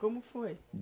Como foi?